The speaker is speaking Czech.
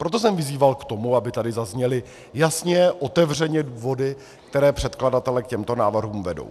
Proto jsem vyzýval k tomu, aby tady zazněly jasně, otevřeně důvody, které předkladatele k těmto návrhům vedou.